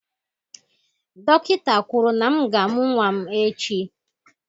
Dọkịta kwuru na m ga-amụ nwa m echi.